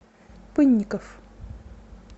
пынников